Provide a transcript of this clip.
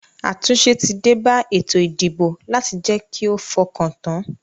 Àtúnse tí débá ètò ìdìbò láti je ki o fokan tan